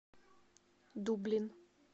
дублин